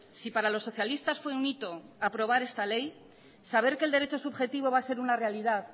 si para los socialistas fue un hito aprobar esta ley saber que el derecho subjetivo va a ser una realidad